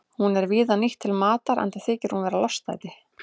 Hún er víða nýtt til matar enda þykir hún vera lostæti.